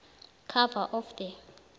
cover of the